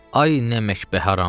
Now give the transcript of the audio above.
Ay nə əmək bə haram.